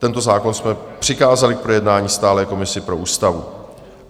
Tento zákon jsme přikázali k projednání stálé komisi pro ústavu.